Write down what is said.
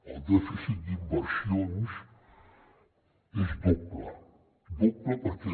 el dèficit d’inversions és doble doble perquè